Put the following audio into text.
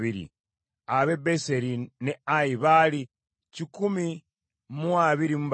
ab’e Beseri n’e Ayi baali kikumi mu abiri mu basatu (123),